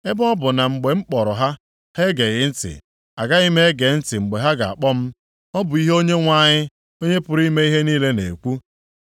“ ‘Ebe ọ bụ na mgbe m kpọrọ ha, ha egeghị ntị, agaghị m ege ntị mgbe ha ga-akpọ m,’ Ọ bụ ihe Onyenwe anyị, Onye pụrụ ime ihe niile na-ekwu.